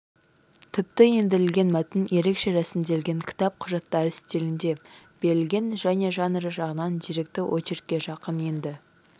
тіпті ендірілген мәтін ерекше рәсімделген кітап құжаттар стилінде берілген және жанры жағынан деректі очеркке жақын енді